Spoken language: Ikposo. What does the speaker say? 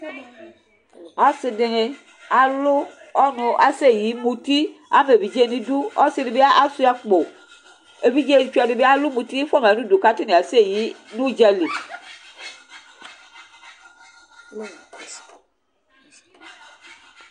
ase dini alo ɔnò asɛ yi muti ama evidze n'idu ɔse di bi asua akpo evidze tsɔ di bi alo muti fua ma n'udu k'atani asɛ yi n'udzali